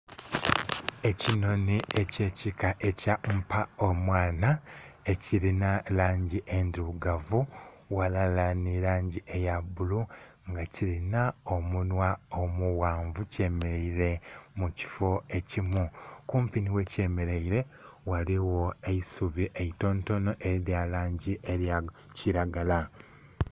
Ekinhonhi ekyekika ekya mpa omwana ekirina langi endhirugavu ghalala nilangi eyabbulu nga kirina omunhwa omuwanvu kyemeraire mukifo ekimu kumpi niwekyemeraire ghaligho eisubi eitontono eryalangi eyakiragala.